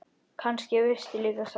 Kannski veistu líka svarið.